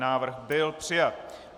Návrh byl přijat.